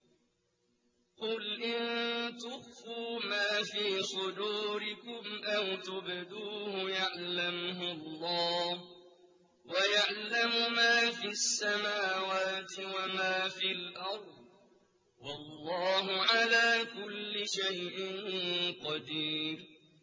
قُلْ إِن تُخْفُوا مَا فِي صُدُورِكُمْ أَوْ تُبْدُوهُ يَعْلَمْهُ اللَّهُ ۗ وَيَعْلَمُ مَا فِي السَّمَاوَاتِ وَمَا فِي الْأَرْضِ ۗ وَاللَّهُ عَلَىٰ كُلِّ شَيْءٍ قَدِيرٌ